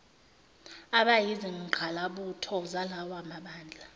abayizingqalabutho zalawa mabandla